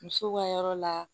Musow ka yɔrɔ la